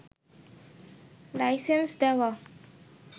licence দেওয়া